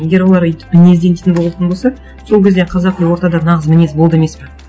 егер олар өйтіп мінезден дейтін болатын болса сол кезде қазақи ортада нағыз мінез болды емес пе